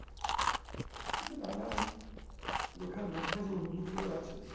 কিন্তু নানান লেখার মধ্যে যে ইঙ্গিতগুলো আছে